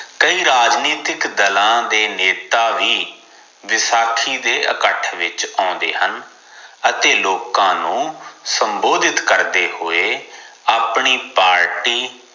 ਕਈ ਰਾਜਨੀਤਿਕ ਦਲਾਂ ਦੇ ਨੇਤਾ ਵੀ ਵਸਾਖੀ ਦੇ ਇਕੱਠ ਵਿਚ ਆਉਂਦੇ ਹਨ ਅਤੇ ਲੋਕਾਂ ਨੂੰ ਸੰਬੋਧਿਤ ਕਰਦੇ ਹੋਏ ਆਪਣੀ ਪਾਰਟੀ